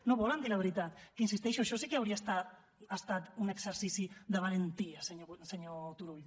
no volen dir la veritat que hi insisteixo això sí que hauria estat un exercici de valentia senyor turull